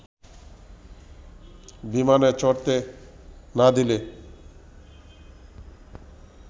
বিমানে চড়তে না দিলে